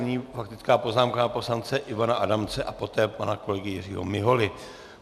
Nyní faktická poznámka pana poslance Ivana Adamce a poté pana kolegy Jiřího Miholy.